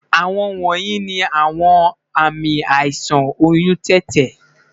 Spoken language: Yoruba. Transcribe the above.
Awọn wọnyi ni awọn aami aisan ti oyun tete